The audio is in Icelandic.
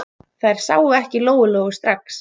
Þær sáu ekki Lóu-Lóu strax.